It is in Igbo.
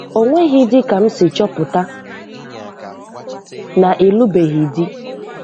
Ọ nweghịdị ka m si chọpụta na ịlụbeghị di.